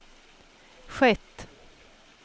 skett